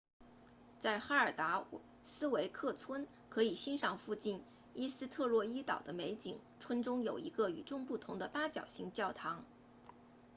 在哈尔达斯维克村 haldarsvík 可以欣赏附近依斯特洛伊岛 eysturoy 的美景村中有一个与众不同的八角形教堂